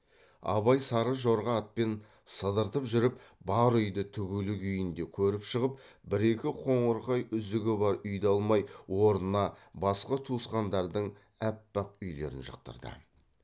абай сары жорға атпен сыдыртып жүріп бар үйді тігулі күйінде көріп шығып бір екі қоңырқай үзігі бар үйді алмай орнына басқа туысқандардың аппақ үйлерін жықтырды